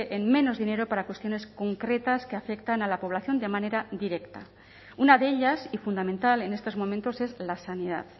en menos dinero para cuestiones concretas que afectan a la población de manera directa una de ellas y fundamental en estos momentos es la sanidad